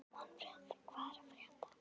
Manfred, hvað er að frétta?